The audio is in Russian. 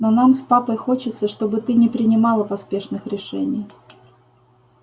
но нам с папой хочется чтобы ты не принимала поспешных решений